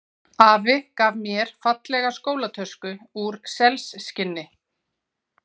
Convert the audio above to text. Afi gaf mér fallega skólatösku úr selskinni.